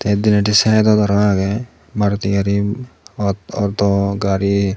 denedi sydot arow agey maruti gari aut auto gari.